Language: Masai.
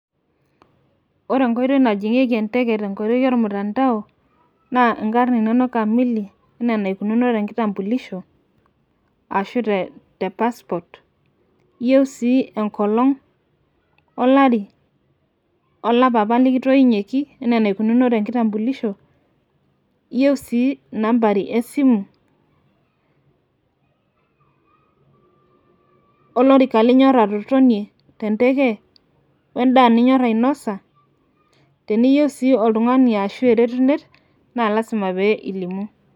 ore enkoitooi najing'ieki enteke te nkoitoi ormutandao, naa inkarn inono kamili, anaa enaikununo te nkitampulisho, ashu te passport ,iyieu sii enkolong' olari, olapa apa likitoinyieki, enaa enaikununo te nkitampulisho, iyieu sii inambari esimu, olorika linyor atotonie. tenteke, we daa ninyor ainosa, teneiyieu si oltungani ashu eretunet naa lasima pee ilimu.